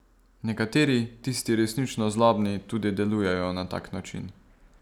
Nekateri, tisti resnično zlobni, tudi delujejo na tak način.